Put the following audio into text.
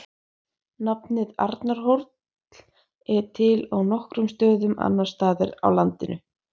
Nafnið Arnarhóll er til á nokkrum stöðum annars staðar á landinu.